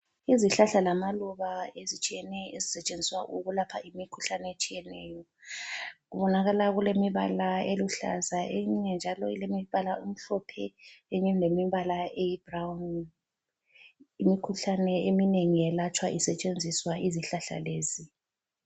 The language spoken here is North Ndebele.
Izihlahla lamaluba ezitshiyeneyo ezisetshenziswa ukulapha imikhuhlane etshiyeneyo. Kubonakala kulemibala eluhlaza eyinye njalo ilemibala emhlophe eyinye ilemibala eyibhurawuni. Imikhuhlane eminengi yelatshwa isetshenziswa izihlahla lezi.